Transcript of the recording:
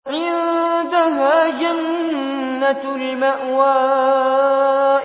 عِندَهَا جَنَّةُ الْمَأْوَىٰ